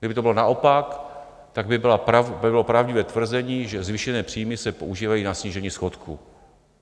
Kdyby to bylo naopak, tak by bylo pravdivé tvrzení, že zvýšené příjmy se používají na snížení schodku.